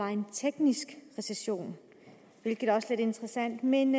er en teknisk recession hvilket også er lidt interessant men